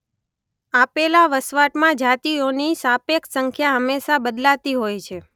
આપેલા વસવાટમાં જાતિઓની સાપેક્ષ સંખ્યા હંમેશા બદલાતી હોય છે.